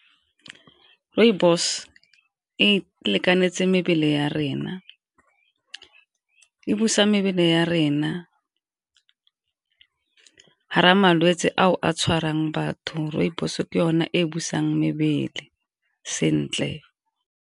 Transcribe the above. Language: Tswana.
Rooibos e lekanetse mebele ya rena, e busa mebele ya rena ha re malwetse ao a tshwarang batho rooibos ke yone e busang mebele sentle.